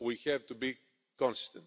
we have to be consistent.